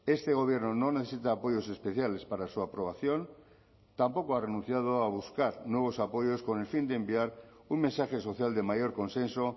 este gobierno no necesita apoyos especiales para su aprobación tampoco ha renunciado a buscar nuevos apoyos con el fin de enviar un mensaje social de mayor consenso